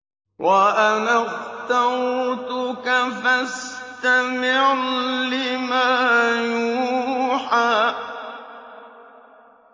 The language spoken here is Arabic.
وَأَنَا اخْتَرْتُكَ فَاسْتَمِعْ لِمَا يُوحَىٰ